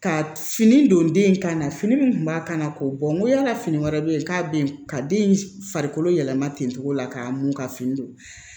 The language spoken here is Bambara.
Ka fini don den in ka na fini min kun b'a kan na k'o bɔ n ko yala fini wɛrɛ bɛ yen k'a bɛ yen ka den farikolo yɛlɛma ten cogo la k'a mun ka fini don